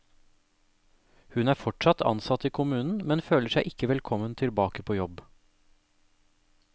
Hun er fortsatt ansatt i kommunen, men føler seg ikke velkommen tilbake på jobb.